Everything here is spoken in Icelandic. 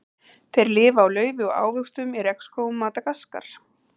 Þeir lifa á laufi og ávöxtum í regnskógum Madagaskar.